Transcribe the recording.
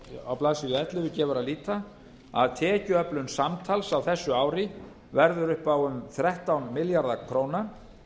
á blaðsíðu ellefu gefur að líta að tekjuöflun samtals á þessu ári verður upp á um þrettán milljarða króna